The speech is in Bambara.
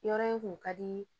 Yɔrɔ in kun ka di